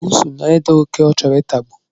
Bụụsu na-ede oké ọ chọrọ itagbu